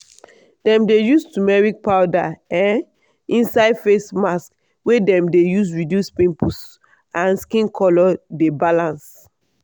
dem dey use turmeric powder um inside face mask wey dem dey use reduce pimples and make skin color dey balance.